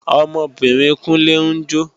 Ọmọbìnrin Kúnlé ń jó